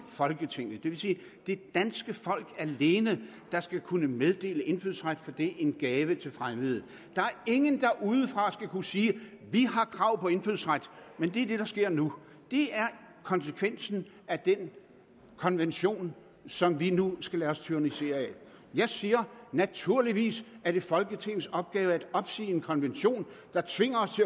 folketinget det vil sige det danske folk alene der skal kunne meddele indfødsret for det er en gave til fremmede der er ingen der udefra skal kunne sige vi har krav på indfødsret men det er det der sker nu det er konsekvensen af den konvention som vi nu skal lade os tyrannisere af jeg siger at det naturligvis er folketingets opgave at opsige en konvention der tvinger os